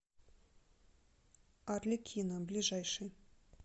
арлекино ближайший